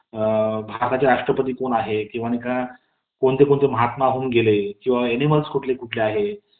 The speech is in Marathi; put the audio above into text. अ.. भारताचे राष्ट्रपती कोण आहेत , किंवा कोणते महात्मा होऊन गेले किंवा अनिमल्स कोणकोणते आहेत